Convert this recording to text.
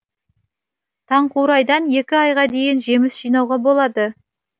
таңқурайдан екі айға дейін жеміс жинауға болады